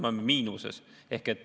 Me oleme miinuses.